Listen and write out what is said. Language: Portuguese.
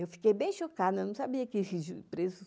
Eu fiquei bem chocada, eu não sabia que esses presos...